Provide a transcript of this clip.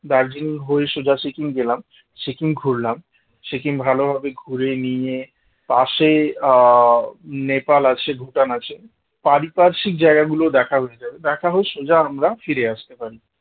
দার্জিলিং হয়ে সোজা সিকিম গেলাম সিকিম ঘুরলাম সিকিম ভালোভাবে ঘুরে নিয়ে পাশে আহ নেপাল আছে ভুটান আছে পারিপার্শ্বিক জায়গা গুলো দেখা হয়ে যাবে দেখা হয়ে সোজা আমরা ফিরে আসতে পারি